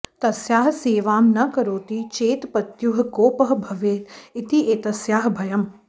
तस्याः सेवां न करोति चेत् पत्युः कोपः भवेत् इति एतस्याः भयम्